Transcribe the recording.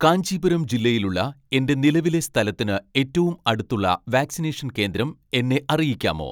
കാഞ്ചീപുരം ജില്ലയിലുള്ള എന്റെ നിലവിലെ സ്ഥലത്തിന് ഏറ്റവും അടുത്തുള്ള വാക്സിനേഷൻ കേന്ദ്രം എന്നെ അറിയിക്കാമോ